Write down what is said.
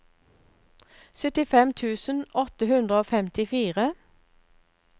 syttifem tusen åtte hundre og femtifire